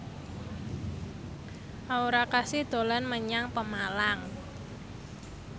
Aura Kasih dolan menyang Pemalang